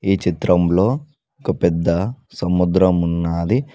ఈ చిత్రంలో ఒక పెద్ద సముద్రం ఉన్నాది.